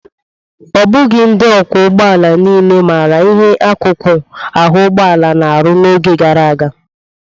Ọ bụghị ndị ọkwọ ụgbọala niile maara ihe akụkụ ahụ ụgbọalaa na-arụ n'oge gara aga.